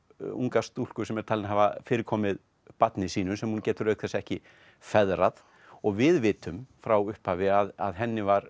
unga stúlku sem er talin hafa fyrirkomið barni sínu sem hún getur auk þess ekki feðrað og við vitum frá upphafi að henni var